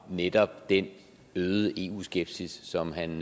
netop den øgede eu skepsis som han